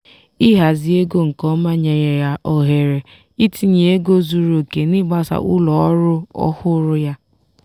ịhazi ego nke ọma nyere ya ohere itinye ego zuru oke n'ịgbasa ụlọ ọrụ ọhụrụ ya.